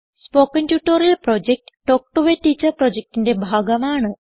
spoken tutorial project talk to a teacher പ്രൊജക്റ്റിന്റെ ഭാഗമാണ്